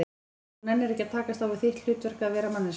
Og þú nennir ekki að takast á við þitt hlutverk, að vera manneskja?